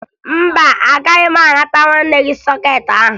Mba, agaghị m anata nwanne gị sọkeetị ahụ